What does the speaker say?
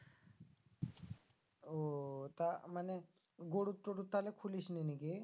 ও তা মানে গরুর টড়ুর তালে খুলিস নি নাকি?